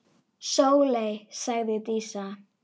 Sóley, sagði Dísa.